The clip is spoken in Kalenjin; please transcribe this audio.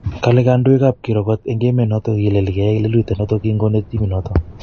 kole kondoigab kirwoget en emonoton kilel kiyai lelutionoton kin konete timinoton.